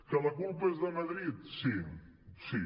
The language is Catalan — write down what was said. que la culpa és de madrid sí sí